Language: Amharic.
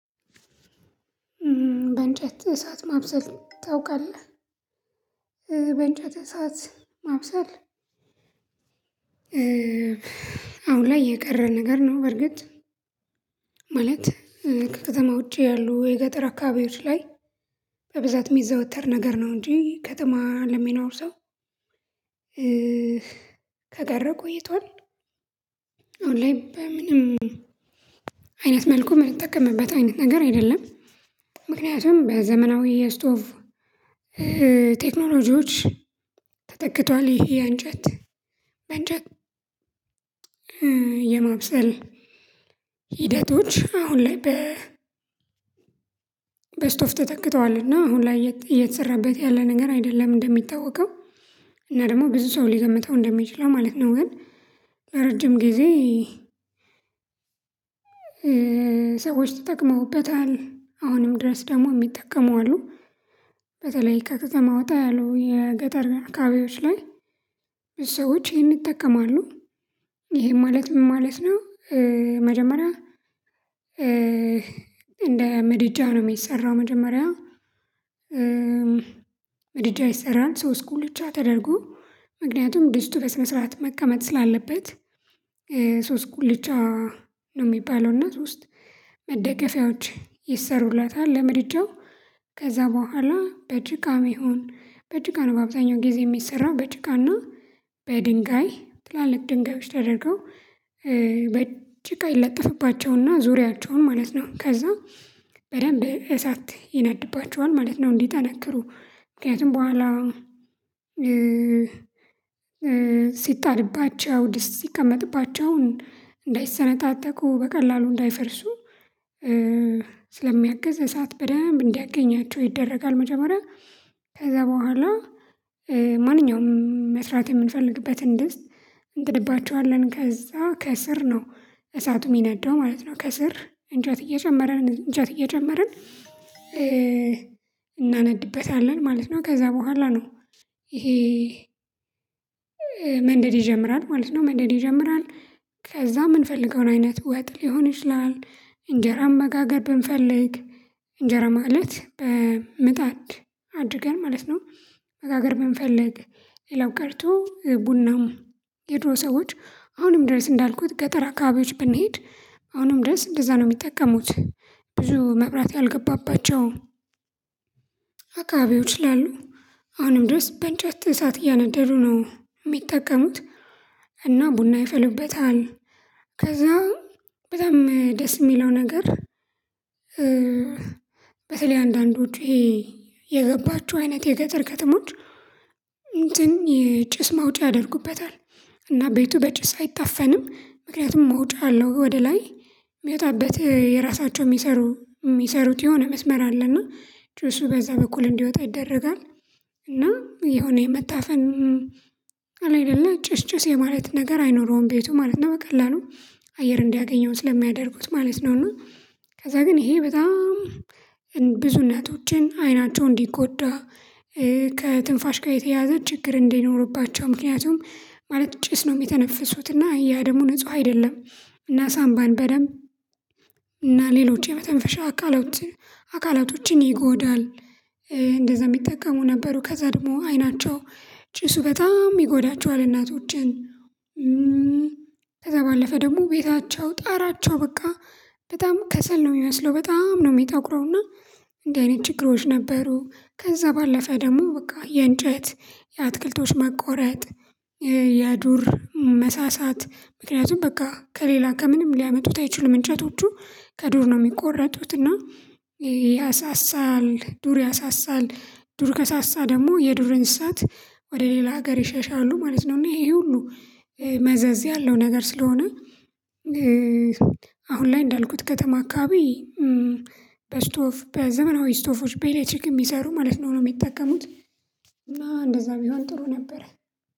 በእንጨት እሳት ማብሰል ታውቃለህ? በእንጨት እሳት ማብሰል አሁን ላይ የቀረን ነገር ነው በርግጥ ማለት ከከተማ ውጪ ያሉ የገጠር አካባቢዎች ላይ በብዛት የሚዘወተር ነገር ነው እንጂ ከተማ ለሚኖር ሰው ከቀረቁ ቆይቷል አሁን ላይ በምንም አይነት መልኩ የምንጠቀምበት አይነት ነገር አይደለም ምክንያቱም በዘመናዊ የስቶቭ ቴክኖሎጂዎች ተጠቅቷል ይሄ አንጀት የማብሰል አሁን ላይ በስቶፍ ተጠክተዋልና አሁን ላይ እየተሰራበት ያለ ነገር አይደለም እንደሚታወቀው። እና ደግሞ ብዙ ሰው ሊገምተው እንደሚችለው ማለት ነው ግን ጊዜ ሰዎች ተጠቅመውበታል አሁንም ድረስ ደግሞ የሚጠቀመው አሉ በተለይ ከተማው ጣሉ የገጠር አካባቢዎች ላይ ሰዎች ይህንን ይጠቀማሉ። ይሄን ማለት ምን ማለት ነው መጀመሪያ እንደ ምድጃ ነው የሚሰራው መጀመሪያ ይሰራል ሶስት ጉልቻ ተደርጎ ምክንያቱም ድስቱ በስነ ስርዓት መቀመጥ ስላለበት ሶስት ጉልቻ ነው የሚባለው እና ሶስት መደገፊያዎች ይሰሩላታል ለምድጃው ከዛ በኋላ በጭቃ ይሁን በጭቃ ነው በአብዛኛው ጊዜ የሚሰራው በጭቃና በድንጋይ ትላልቅ ድንጋዮች ተደርገው በጭቃ ይለጥፍባቸውና ዙሪያቸውን ማለት ነው ከዛ በደንብ እሳት ይነድባቸዋል ማለት ነው። እንዲ ጠነክሩ ምክንያቱም በኋላ ሲጣድባቸው ድስት ሲቀመጥባቸውን እንዳይሰነጣጠቁ በቀላሉ እንዳይፈርሱ ስለሚያግዝ እሳት በደንብ እንዲያገኛቸው ይደረጋል መጀመሪያ ከዛ በኋላ ማንኛውም መስራት የምንፈልግበትን ድስት እንጥድባቸዋለን ከዛ ከስር ነው እሳቱ የሚነደው ማለት ነው ከስር እንጨት እየጨመርን እንጨት እየጨመርን እናነነብበታለን ማለት ነው። ከዛ በኋላ ነው ይሄ መንደድ ይጀምራል ማለት ነው መንደድ ይጀምራል ከዛ የምንፈልገውን አይነት ወጥ ሊሆን ይችላል እንጀራም መጋገር ብንፈልግ ማለት በምጣድ አድርገን ማለት ነው በጋገር ብንፈልግ፤ ሌላው ቀርቶ ቡናም የድሮ ሰዎች አሁንም ድረስ እንዳልኩት ገጠራ አካቢዎች ብንሄድ አሁንም ድረስ እንደዛ ነው የሚጠቀሙት ብዙ መብራት ያልገባባቸው አካባቢዎች ስላሉ አሁንም ድረስ በእንጨት እንሳ እያነደዱ ነው የሚጠቀሙት እና ቡና ይፈልበታል ከዛ በጣም ደስ የሚለው ነገር በተለይ አንዳንድ ውጪ የገባችው አይነት የገጠር ከተሞች እንትን የጭስ ማውጫ ያደርጉበታል። እና ቤቱ በጭስ አይታፈንም። ምክንያቱም ማውጫ አለው ወደ ላይ የሚወጣበት የራሳቸው የሚሰሩ የሚሰሩት የሆነ መስመር አለና ጭሱ በዛ በኩል እንዲወጣ ይደረጋል። እና የሆነ የመታፈን አለ አይደለ ጭስጭስ የማለት ነገር አይኖረውም ቤቱ ማለት ነው በቀላሉ አየር እንዲያገኘው ስለሚያደርጉት ማለት ነው እና ከዛ ግን ይሄ በጣም ብዙ እነቶችን አይናቸው እንዲጎዳ ከትንፋሽ ጋር የተያዘ ችግር እንዲኖርባቸው ምክንያቱም ማለት ጭስ ነው የሚተነፍሱት እና ያ ደግሞ ንጹህ አይደለም እና ሳምባን በደንብ እና ሌሎች የመተንፈሻ አካላት አካላቶችን ይጎዳል፤ እንደዛ የሚጠቀሙ ነበሩ ከዛ ደግሞ አይናቸው ጭሱ በጣም ይጎዳቸዋል እናቶችን ከዛ ደግሞ ቤታቸው ጣራቸው በቃ በጣም ከሰል ነው የሚመስለው በጣም ነው የሚጠቁረው እንዲህ አይነት ችግሮች ነበሩ ከዛ ባለፈ ደግሞ በቃ የእንጨት የአትክልቶች መቆረጥ ያዱር መሳሳት ምክንያቱም በቃ ከሌላ ከምንም ሊያመጡት አይችሉም እንጨቶቹ ከዱር ነው የሚቆረጡት እና ያሳሳል ዱር ያሳሳል፤ ዱር ከሳሳ ደግሞ የዱርእእሳት ወደ ሌላ ሀገር ይሸሻሉ ማለት ነው እና ይሄ ሁሉ መዘዝ ያለው ነገር ስለሆነ አሁን ላይ እንዳልኩት ከተማ አካባቢ በስቶፍ በዘመናዊ ስቶፎች በኤሌክትሪክ የሚሰሩ ማለት ነው ነው የሚጠቀሙት እና እንደዛ ቢሆን ጥሩ ነበር